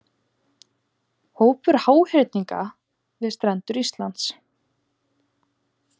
Hópur háhyrninga við strendur Íslands.